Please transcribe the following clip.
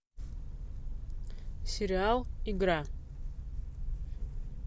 сериал игра